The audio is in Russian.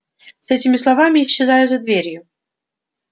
с этими словами исчезаю за дверью